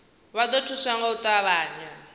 vha ḓo thuswa nga u ṱavhanya